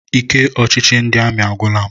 Ike ọchịchị ndị amị agwụla m.